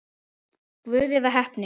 Guð eða heppni?